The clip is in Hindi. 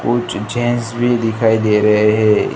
कुछ जेंट्स भी दिखाई दे रहे हैं।